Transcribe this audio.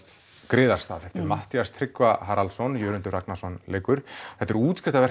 griðarstað eftir Matthías Tryggva Haraldsson Jörundur Ragnarsson leikur þetta er